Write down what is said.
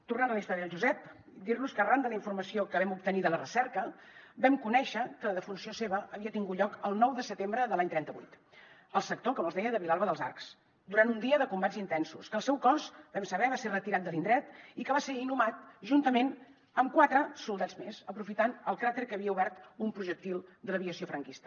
tornant a la història del josep dir los que arran de la informació que vam obtenir de la recerca vam conèixer que la defunció seva havia tingut lloc el nou de setembre de l’any trenta vuit al sector com els deia de vilalba dels arcs durant un dia de combats intensos que el seu cos vam saber va ser retirat de l’indret i que va ser inhumat juntament amb quatre soldats més aprofitant el cràter que havia obert un projectil de l’aviació franquista